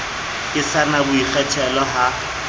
ke sa na boikgethelo ha